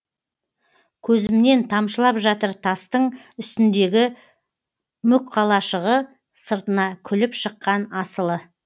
көзімнен тамшылап жатыр тастың үстіндегі мүк қалашығы сыртына күліп шыққан асылы